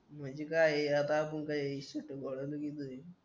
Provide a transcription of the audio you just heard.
म्हणजे काय आहे आता आपण काय बोलायचं इकडे